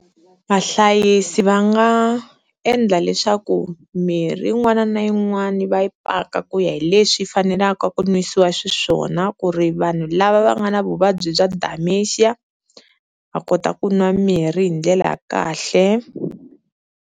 Vahlayisi va nga endla leswaku mirhi yin'wana na yin'wani va yi paka ku ya hi leswi fanelaka ku nwisiwa xiswona ku ri vanhu lava va nga na vuvabyi bya Dimentia va kota ku nwa mirhi hi ndlela ya kahle.